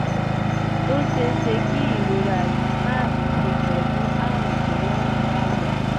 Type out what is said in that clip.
ó ṣeé ṣe kí ìrora yìí máà ní í ṣe pẹ̀lú àrùn tó wà ní àyà